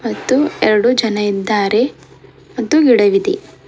ಮತ್ತು ಎರಡು ಜನ ಇದ್ದಾರೆ ಮತ್ತು ಗಿಡವಿದೆ.